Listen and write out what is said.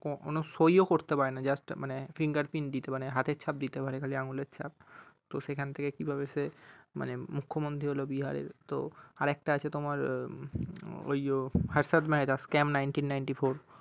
কখনো সই করতে পারে না just মানে fingerprint দিতে মানে হাতের ছাপ দিতে পারে মানে আঙ্গুলের ছাপ তো সেখান থেকে কিভাবে সে মানে মুখ্যমন্ত্রী হলো বিহারের তো আর একটা আছে তোমার উম ওই Harshad Mehra scam nineteen ninety-four